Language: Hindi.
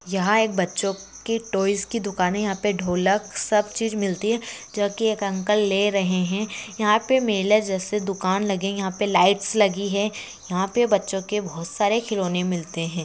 यहां एक बच्चों के टॉयज की दुकान यहां पर ढोलक सब चीज मिलती है जो की एक अंकल ले रहे है यहां पर मेले जैसे दुकान लगे यहां पर लाइट्स लगी है यहां पर बच्चों के बहुत सारे खिलौने मिलते है।